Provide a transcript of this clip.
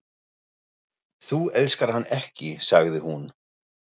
Þú elskar hann ekki, sagði hún.